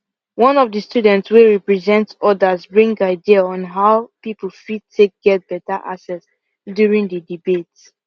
one of the student wey represent others bring idea on how people fit take get better access during the debate